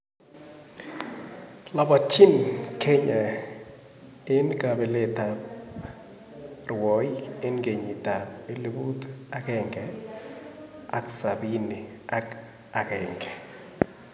lapatyin Kenya en kapeleet ap rwaig en kenyitap elipuut agengee sabini ak aeng